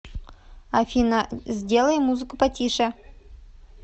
афина сделай музыку потише